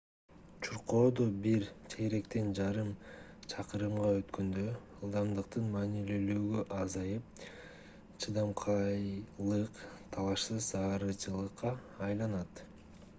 чуркоодо бир чейректен жарым чакырымга өткөндө ылдамдыктын маанилүүлүгү азайып чыдамкайлык талашсыз зарылчылыкка айланат